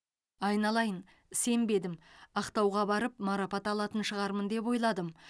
айналайын сенбедім ақтауға барып марапат алатын шығармын деп ойладым